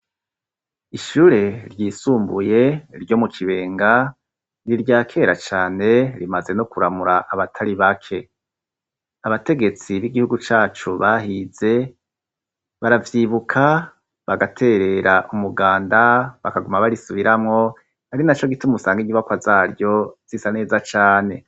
Ishure ryisumbuye ryo mu Kibenga ni irya kera cane rimaze no kuramura abatari bake. Abategetsi b'igihugu cacu bahize baravyibuka bagaterera umuganda bakaguma barisubiramwo ari na co gituma usanga inyubakwa zaryo zisa neza cane.